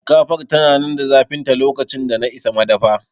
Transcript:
Shinkafar tana nan da zafinta lokacin da na isa madafa